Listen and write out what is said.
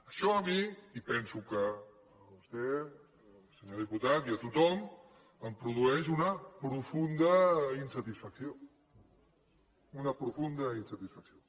això a mi i penso que a vostè senyor diputat i a tothom em produeix una profunda insatisfacció una profunda insatisfacció